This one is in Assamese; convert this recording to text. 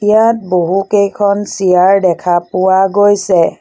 ইয়াত বহুকেইখন চিয়াৰ দেখা পোৱা গৈছে।